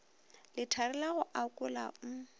lethari la go akola o